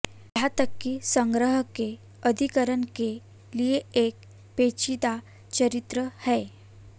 यहां तक कि संग्रह के अधिग्रहण के लिए एक पेचीदा चरित्र है